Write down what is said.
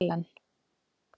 Ellen